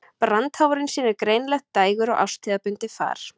Brandháfurinn sýnir greinilegt dægur- og árstíðabundið far.